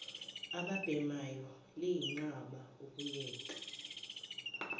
ababhemayo liyenqaba ukuyeka